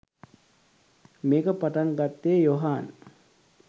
මේක පටන් ගත්තේ යොහාන්